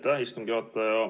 Aitäh, istungi juhataja!